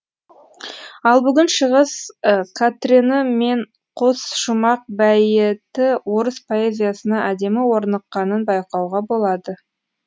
ал бүгін шығыс катрені мен қос шумақ бәйіті орыс поэзиясына әдемі орныққанын байқауға болады